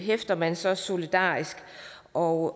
hæfter man så solidarisk og